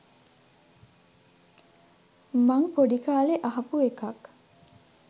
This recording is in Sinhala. මං පොඩි කාලේ අහපු එකක්